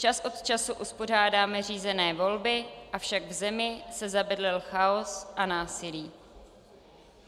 Čas od času uspořádáme řízené volby, avšak v zemi se zabydlel chaos a násilí.